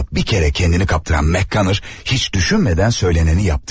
Amma bir kərə kendini kaptıran Mak kanər heç düşünmədən söylənəni yapdı.